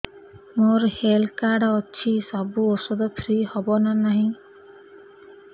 ମୋର health card ଅଛି ସବୁ ଔଷଧ ଫ୍ରି ହବ ନା ନାହିଁ